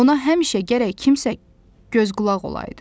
Ona həmişə gərək kimsə göz qulaq olaydı.